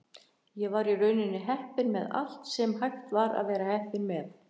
Ég var í rauninni heppinn með allt sem hægt var að vera heppinn með.